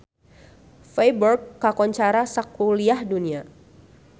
Feiburg kakoncara sakuliah dunya